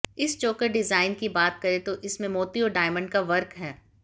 इस choker design की बात करें तो इसमें मोती और डायमंड का वर्क हैं